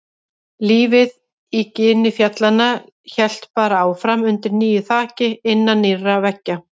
Lífið í gini fjallanna hélt bara áfram undir nýju þaki, innan nýrra veggja.